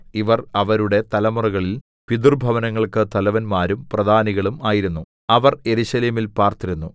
ഇവർ അവരുടെ തലമുറകളിൽ പിതൃഭവനങ്ങൾക്ക് തലവന്മാരും പ്രധാനികളും ആയിരുന്നു അവർ യെരൂശലേമിൽ പാർത്തിരുന്നു